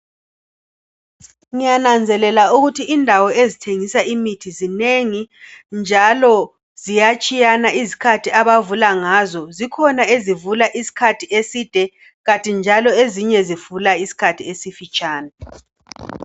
Ngiyananzelela ukuthi indawo ezithengisa imithi zinengi njalo ziyatshiyana izikhathi abavula ngazo. Zikhona ezivula isikhathi eside, kanti njalo ezinye zivula isikhathi esifitshane.